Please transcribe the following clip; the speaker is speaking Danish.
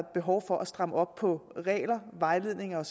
behov for at stramme op på regler vejledninger